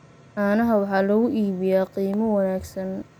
Caanaha waxaa lagu iibiyaa qiimo wanaagsan.